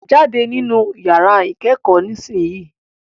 Jáde nínu yàrá ìkẹ́kọ̀ọ́ nísìsiyìí.